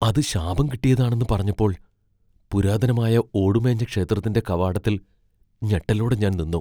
അത് ശാപം കിട്ടിയതാണെന്ന് പറഞ്ഞപ്പോൾ പുരാതനമായ ഓടുമേഞ്ഞ ക്ഷേത്രത്തിന്റെ കവാടത്തിൽ ഞെട്ടലോടെ ഞാൻ നിന്നു.